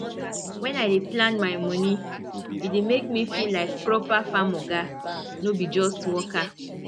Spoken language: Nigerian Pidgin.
when i dey plan my money e dey make me feel like proper farm oga no be just worker